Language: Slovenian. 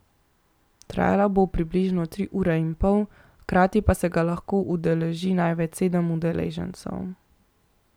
Trajalo bo približno tri ure in pol, hkrati pa se ga lahko udeleži največ sedem udeležencev.